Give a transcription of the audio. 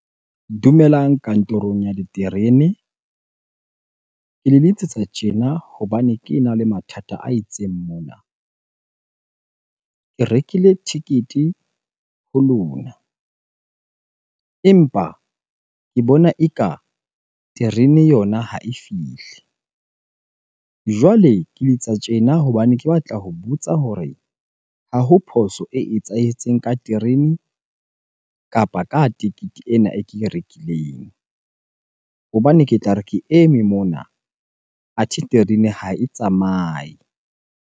Dumelang kantorong ya diterene. Ke le letsetsa tjena hobane kena le mathata a itseng mona. Ke rekile ticket-e ho lona empa ke bona eka terene yona ha e fihle. Jwale ke letsa tjena hobane ke batla ho botsa hore ha ho phoso e etsahetseng ka terene kapa ka tekete ena e ke e rekileng. Hobane ke tla re ke eme mona, athe terene ha e tsamaye.